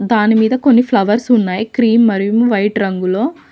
దానిమీద కొన్ని ఫ్లవర్స్ ఉన్నాయ్ క్రీమ్ మరియు వైట్ రంగులో.